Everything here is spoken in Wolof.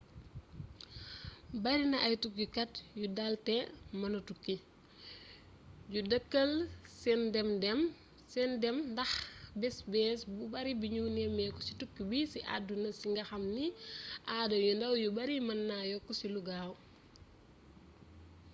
barina ay tukkikat yu dal te mëna tukki yu dakkal sen dem ndax bes bes bu bari bignu néméku ci tukki bi ci aduna si nga xam ni aada yu ndaw yu bari mën na yokku ci lu gaaw